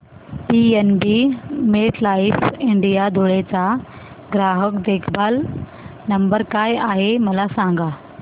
PNB MetLife India Dhule चा ग्राहक देखभाल नंबर काय आहे मला सांगा